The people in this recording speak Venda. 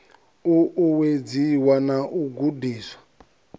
u uwedziwe na u gudiswa